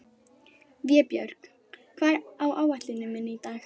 Vébjörg, hvað er á áætluninni minni í dag?